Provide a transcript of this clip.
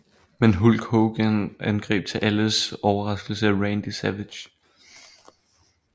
Men Hulk Hogan angreb til alles overraskelse Randy Savage